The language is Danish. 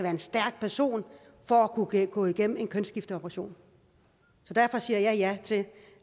en stærk person for at kunne gå igennem en kønsskifteoperation derfor siger jeg ja til